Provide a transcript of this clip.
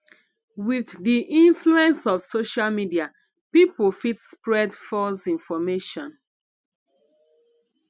with di influence of social media pipo fit spread false information